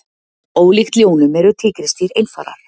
Ólíkt ljónum eru tígrisdýr einfarar.